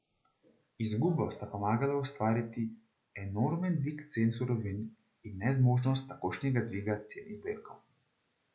Izgubo sta pomagala ustvariti enormen dvig cen surovin in nezmožnost takojšnjega dviga cen izdelkov.